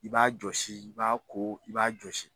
I b'a jɔsi, i b'a ko, i b'a jɔsi.